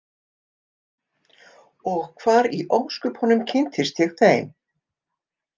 Og hvar í ósköpunum kynntist ég þeim?